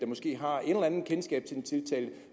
måske har et eller andet kendskab til den tiltalte